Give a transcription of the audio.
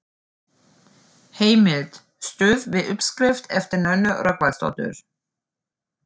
Heimild: Stuðst við uppskrift eftir Nönnu Rögnvaldsdóttur.